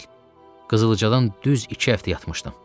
Qızılcadan düz iki həftə yatmışdım.